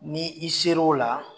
Ni i sera o la